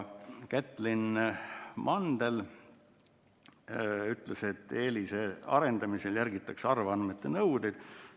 Kätlin Mandel ütles, et EELIS‑e arendamisel järgitakse avaandmete nõudeid.